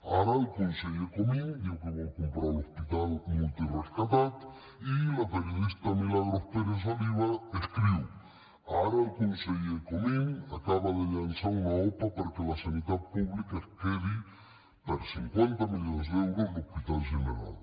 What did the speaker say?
ara el conseller comín diu que vol comprar l’hospital multirescatat i la periodista milagros pérez oliva escriu ara el conseller comín acaba de llançar una opa perquè la sanitat pública es quedi per cinquanta milions d’euros l’hospital general